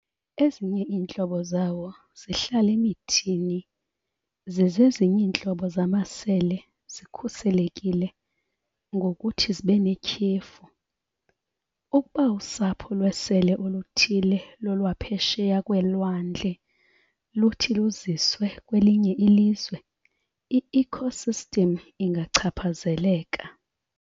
Ezinye iintlobo zawo zihlala emithini, zize ezinye iintlobo zamasele zikhuselekile ngokuthi zibenetyhefu. Ukuba usapho lwesele oluthile lolwaphesheya kweelwandle luthi luziswe kwelinye ilizwe, iecosystem ingachaphazeleka.